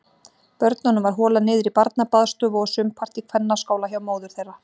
Börnunum var holað niður í barnabaðstofu og sumpart í kvennaskála hjá móður þeirra.